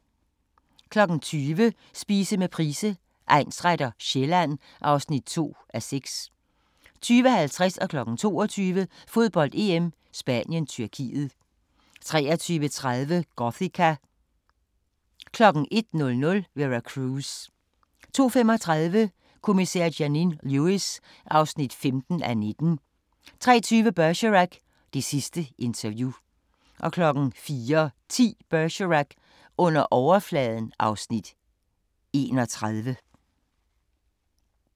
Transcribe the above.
20:00: Spise med Price, egnsretter: Sjælland (2:6) 20:50: Fodbold: EM - Spanien-Tyrkiet 22:00: Fodbold: EM - Spanien-Tyrkiet 23:30: Gothika 01:00: Vera Cruz 02:35: Kommissær Janine Lewis (15:19) 03:20: Bergerac: Det sidste interview 04:10: Bergerac: Under overfladen (Afs. 31)